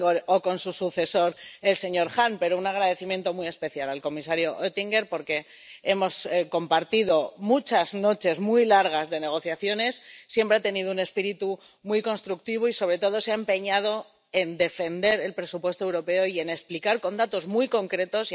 o con su sucesor, el señor Hahn—, un agradecimiento muy especial al comisario Oettinger, porque hemos compartido muchas noches muy largas de negociaciones, siempre ha tenido un espíritu muy constructivo y, sobre todo, se ha empeñado en defender el presupuesto europeo y en explicarlo con datos muy concretos